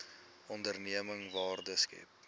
onderneming waarde skep